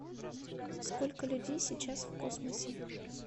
сколько людей сейчас в космосе